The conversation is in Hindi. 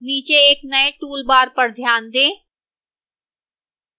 नीचे एक नए toolbar पर ध्यान दें